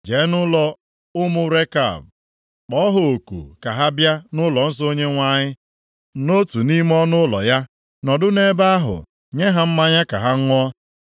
“Jee nʼụlọ ụmụ Rekab kpọọ ha oku ka ha bịa nʼụlọnsọ Onyenwe anyị, nʼotu nʼime ọnụụlọ ya, nọdụ nʼebe ahụ nye ha mmanya ka ha ṅụọ.”